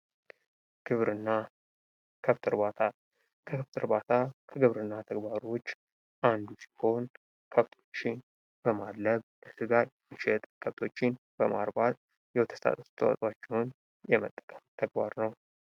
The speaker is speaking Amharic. ግብርና ከብት እርባታ፦ ከብት እርባታ ከግብርና ተግባሮች አንዱ ሲሆን ከብቶችን በማደለብ የመሸጥ ፤ ከብቶችን በማርባት የወተት ተዋፅኦዎችን የመጠቀም ተግባር ነው።